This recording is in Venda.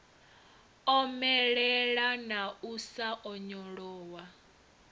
omelela na u sa onyolowa